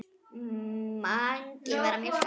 Mangi var að mjólka.